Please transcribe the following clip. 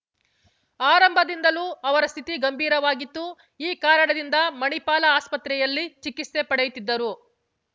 ಆರಂಭದಿಂದಲೂ ಅವರ ಸ್ಥಿತಿ ಗಂಭಿರವಾಗಿತ್ತು ಈ ಕಾರಣದಿಂದ ಮಣಿಪಾಲ ಆಸ್ಪತ್ರೆಯಲ್ಲಿ ಚಿಕಿತ್ಸೆ ಪಡೆಯುತ್ತಿದ್ದರು